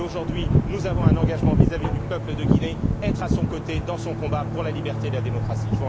Aujourd'hui, nous avons un engagement vis à vis du peuple de Guinée être à son côté dans son combat pour la liberté et la démocratie.